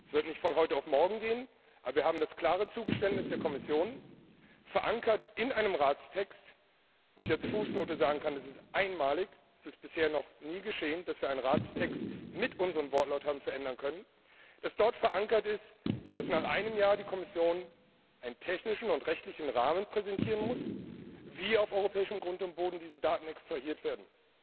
Es wird nicht von heute auf morgen gehen, aber wir haben das klare Zugeständnis der Kommission, verankert in einem Ratstext wo ich als Fußnote sagen kann, das ist einmalig, das ist bisher noch nie geschehen, dass wir einen Ratstext mit unserem Wortlaut haben verändern können dass nach einem Jahr die Kommission einen technischen und rechtlichen Rahmen präsentieren muss, wie diese Daten auf europäischem Grund und Boden extrahiert werden.